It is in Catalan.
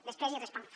després hi responc